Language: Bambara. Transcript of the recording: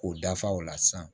K'o dafa o la sisan